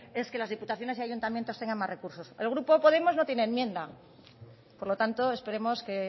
es que las diputaciones y ayuntamientos tengan más recursos el grupo podemos no tiene enmienda por lo tanto esperemos que